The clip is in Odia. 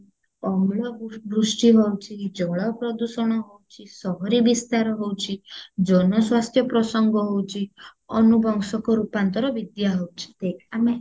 ଅମ୍ଳ ବ୍ରୁ ବୃଷ୍ଟି ହଉଚି ଜଳ ପ୍ରଦୂଷଣ ହଉଚି ସହରୀ ବିସ୍ତାର ହଉଚି ଜନ ସ୍ୱାସ୍ଥ୍ୟ ପ୍ରସଙ୍ଗ ହଉଚି ଅନୁବଂଶକ ରୂପାନ୍ତର ହଉଚି ଦେଖ ଆମେ